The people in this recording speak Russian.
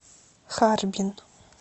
харбин